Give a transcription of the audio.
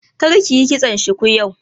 Kar kiyi kitson shuku yau!